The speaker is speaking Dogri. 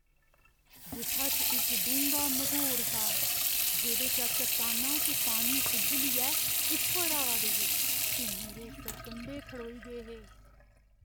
गुफा च इक डूंह्गा मघोर हा जेह्‌दे चा चट्टानां ते पानी उब्बलियै उप्पर आवा दे हे ते मेरे सरकंडे खड़ोई गे हे।